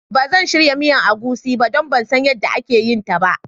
Ban zan shirya miyan agushi ba don nan San yanda ake yin ta ba.